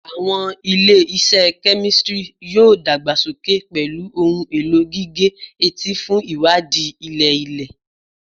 Awọn ile-iṣẹ kemistri yoo dagbasoke pẹlu ohun elo gige-eti fun iwadii ilẹ-ilẹ